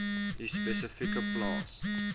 u spesifieke plaas